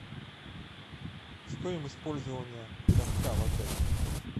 стоимость пользования катка в отеле